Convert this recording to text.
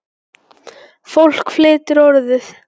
Fólk flytur Orðið.